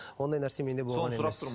ондай нәрсе менде болған емес